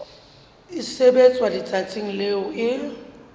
e sebetswa letsatsing leo e